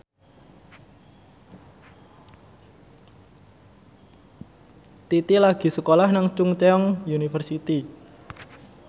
Titi lagi sekolah nang Chungceong University